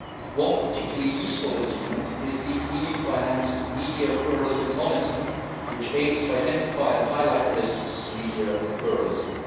One particularly useful instrument is the EU financed media pluralism monitor, which aims to identify and highlight risks to media pluralism.